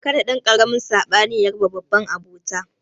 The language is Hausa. Kada ɗankaramin sabani ya raba babban abota